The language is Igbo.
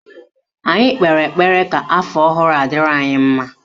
Anyị kpere ekpere ka afọ ọhụrụ a dịrị anyị mma